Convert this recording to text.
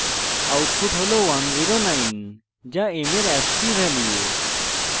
output হল 109 যা m এর ascii value